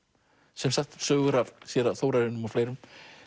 sem sagt sögur af séra Þórarinum og fleirum